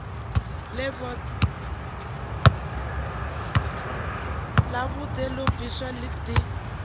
ḽa vhuḓe ḓo bvisiwa ḓi